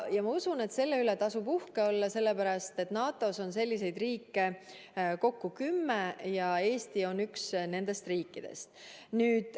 Ma usun, et selle üle tasub uhke olla, sellepärast et NATO-s on selliseid riike kokku kümme ja Eesti on üks nendest riikidest.